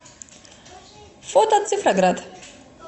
фото цифроград